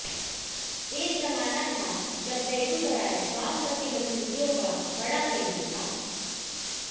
एक ज़माना था जब बेगूसराय वामपंथी गतिविधियों का बड़ा केंद्र था